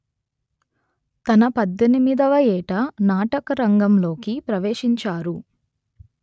తన పధ్ధెనిమిదివ ఏట నాటకరంగంలోకి ప్రవేశించారు